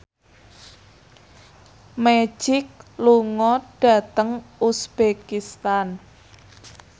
Magic lunga dhateng uzbekistan